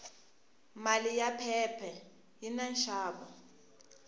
mali ya phepha yini nxavo